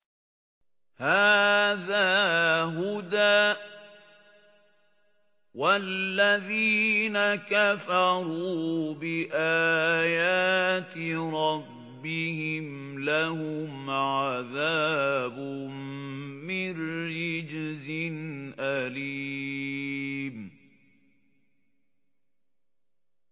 هَٰذَا هُدًى ۖ وَالَّذِينَ كَفَرُوا بِآيَاتِ رَبِّهِمْ لَهُمْ عَذَابٌ مِّن رِّجْزٍ أَلِيمٌ